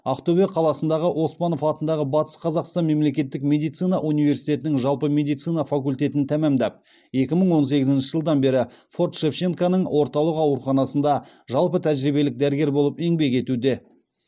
ақтөбе қаласындағы оспанов атындағы батыс қазақстан мемлекеттік медицина университетінің жалпы медицина факультетін тәмамдап екі мың он сегізінші жылдан бері форт шевченконың орталық ауруханасында жалпы тәжірибелік дәрігер болып еңбек етуде